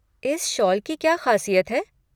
इस शॉल की क्या ख़ासियत है।